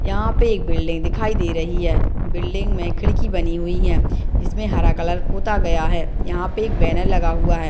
यहाँ पे एक बिल्डिंग दिखाई दे रही है बिल्डिंग में खिड़की बनी हुई है इसमें हरा कलर पोता गया है यहाँ पे एक बैनर लगा हुआ है।